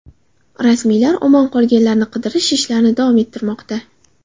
Rasmiylar omon qolganlarni qidirish ishlarini davom ettirmoqda.